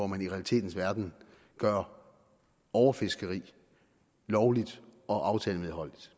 man i realiteternes verden gør overfiskeri lovligt og aftalemedholdeligt